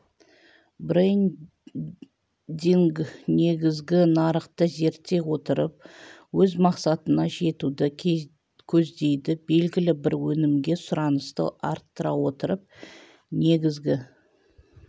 брендинг негізгі нарықты зерттей отырып өз мақсатына жетуді көздейді белгілі бір өнімге сұранысты арттыра отырып негізгі